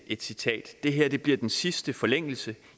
et citat det her bliver den sidste forlængelse